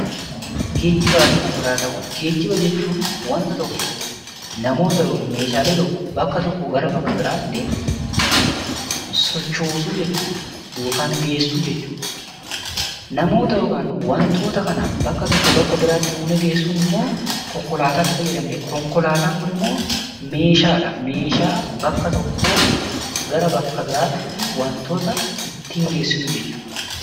Geejibaa fi konkolaataawwan Geejiba jechuun waanta tokko yookaan namoota yookaan meeshaa tokko bakka tokko irraa gara bakka biraatti sochoosuu jechuudha yookaan geessuu jechuudha. Namoota yookaan wantoota kana bakka tokkoo bakka biraatti geessuun immoo konkolaataatti fayyadamneetudha. Konkolaataan Kun immoo meeshaadha. Meeshaa bakka tokkoo gara bakka biraatti waantota ittiin geessinu jechuudha.